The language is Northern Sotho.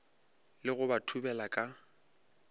le go ba thubela ka